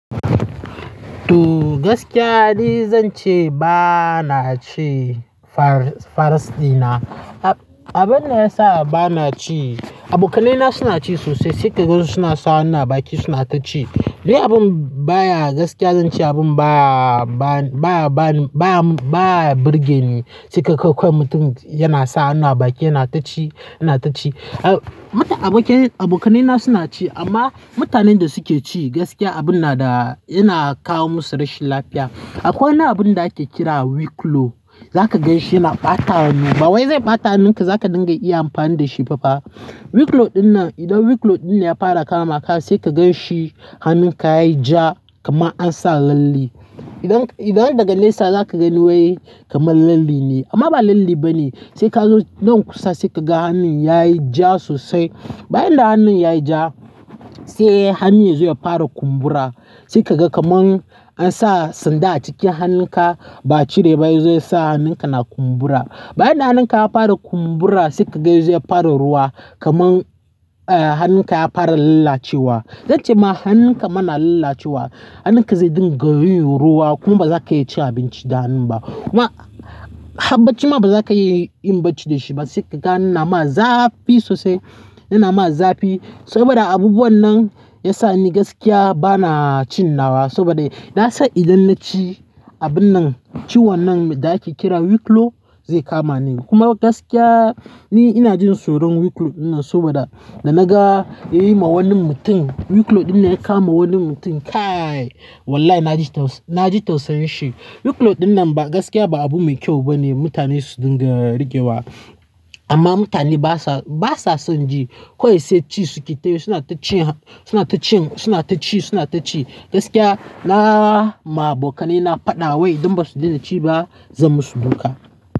To gaskiya ni zan ce ba na ci farasina. Abin da ya sa ba na ci, abokanaina suna ci sosai sai ka ga suna sa hanna a baki suna ta ci. Dai abin baya gaskiya zan ce abin baya, baya, baya, baya burgeni sai ka kai mutum yana sa hannu a baki yana ta ci, yana ta ci. Mutum abokan, abokanaina suna ci amma mutanen da suke ci gaskiya abun na da yana kawo musu rashin lafiya. Akwai wani abun da ake kira "wiglo" za ka ganshi yana ɓata hannu. Bawai zai ɓata hannunka za ka dinga iya amfani da shi ba fa. Wiglo dinnan idan wiglo dinnan ya fara kama ka sai ka gan shi hannunka yayi ja kaman an sa lalle. Idan, idan daga nesa za ka gani wai kaman lalle ne amma ba lalle bane. Sai ka zo nan kusa sai ka ga hannun yayi ja sosai. Bayan da hannun yayi ja sai hannun zai fara kumbura. Sai ka ga kaman an sa sanda a cikin hannunka ba a cire ba yazo yasa hannunka na kumbura. Bayan da hannunka ya fara kumbura sai ka ga zai fara ruwa kaman, eh, hannun ka ya fara lalacewa. Zan ce ma hannun ka mana lalacewa, hannun ka zai dinga yin ruwa kuma ba za ka iya ci abinci da hannu ba. Kuma habacci ma ba za ka iya yin bacci da shi ba sai ka ga hannun nama zafi sosai, yana ma zafi saboda abubuwan nan ya sa ni gaskiya ba na cin nawa saboda na san idan na ci abun nan ciwon nan da ake kira wiglo zai kama ni. Kuma gaskiya ni ina jin tsoron wiglo dinnan saboda da na ga yayi ma wani mutum, wiglo dinnan ya kama wani mutum. Kai! Wallahi na ji tausan, na ji tausayin shi. Wiglo dinnan ba gaskiya ba abu mai kyau bane mutane su dinga rigewa. Amma mutane basa, basa son ji. Ko yaushe ci suke tayi suna ta ci, suna ta cin, suna ta ci, suna ta ci. Gaskiya na ma abokanai na faɗa wai idan ba su daina ci ba zan mu su dunka.